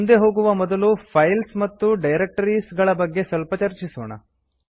ಮುಂದೆ ಹೋಗುವ ಮೊದಲು ಫೈಲ್ಸ್ ಮತ್ತು ಡೈರಕ್ಟರೀಸ್ ಗಳ ಬಗ್ಗೆ ಸ್ವಲ್ಪ ಚರ್ಚಿಸೋಣ